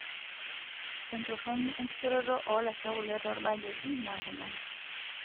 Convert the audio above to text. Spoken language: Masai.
Entoroni enkishoroto oolasho kule toorbaketi naa kuna;